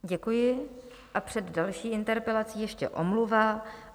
Děkuji a před další interpelací ještě omluva.